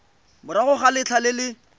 morago ga letlha le le